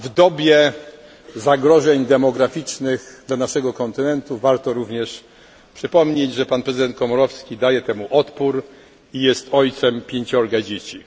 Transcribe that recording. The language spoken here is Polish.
W dobie zagrożeń demograficznych dla naszego kontynentu warto również przypomnieć, że prezydent Komorowski daje temu odpór i jest ojcem pięciorga dzieci.